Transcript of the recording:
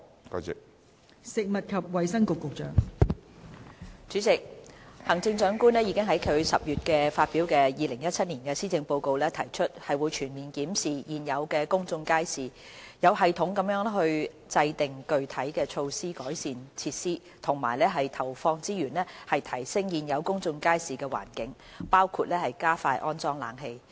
代理主席，行政長官已在其10月發表的2017年施政報告提出，會全面檢視現有的公眾街市，有系統地制訂具體措施改善設施和投放資源提升現有公眾街市的環境，包括加快安裝冷氣。